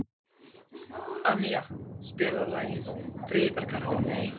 Annía, spilaðu lagið „Friðargarðurinn“.